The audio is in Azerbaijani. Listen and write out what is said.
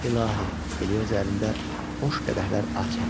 İlahi, Elioza əlində boş qədəhlər ah çəkdi.